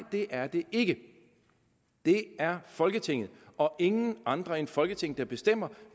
det er det ikke det er folketinget og ingen andre end folketinget der bestemmer